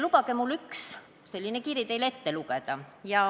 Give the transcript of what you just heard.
Lubage mul üks selline kiri teile ette lugeda.